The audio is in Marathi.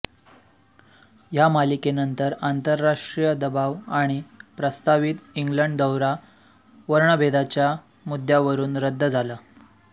ह्या मालिकेनंतर आंतरराष्ट्रीय दबाव आणि प्रस्तावित इंग्लंड दौरा वर्णभेदाच्या मुद्द्यावरून रद्द झाला